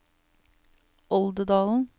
Oldedalen